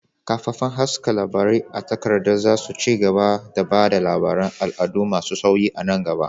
Kafafen haska labarai a takarda za su ci gaba da ba da labaran al'adu masu sauyi a nan gaba.